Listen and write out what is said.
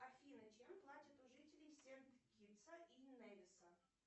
афина чем платят у жителей сент китса и невиса